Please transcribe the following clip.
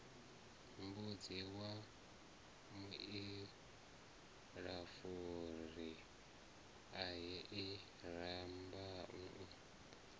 mbudzi wa muilafuri ahee rambau